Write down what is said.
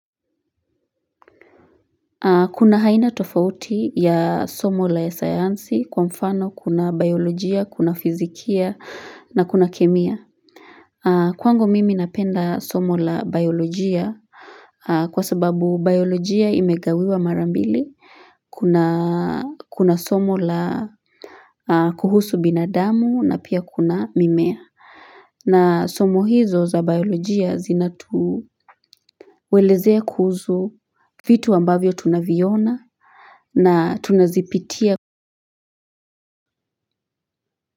Kuna haina tofauti ya somo la sayansi kwa mfano kuna biolojia, kuna fizikia na kuna kemia. Kwangu mimi napenda somo la biolojia kwa sababu biolojia imegawiwa marambili. Kuna somo la kuhusu binadamu na pia kuna mimea. Na somo hizo za biolojia zina tuelezea kuzu vitu ambavyo tunaviona na tunazipitia.